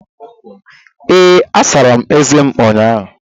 Ee, asara m eze m ụnyaahụ